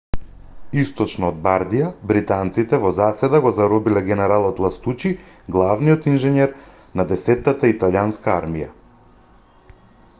источно од бардија британците во заседа го заробиле генералот ластучи главниот инженер на десеттата италијанска армија